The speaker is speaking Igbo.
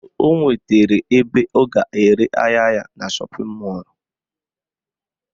O nwetara ebe ọ ga-ere ahịa ya na shọpịn mọlụ